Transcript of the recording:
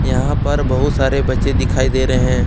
यहां पर बहुत सारे बच्चे दिखाई दे रहे हैं।